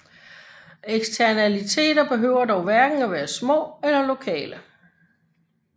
Eksternaliteter behøver dog hverken være små eller lokale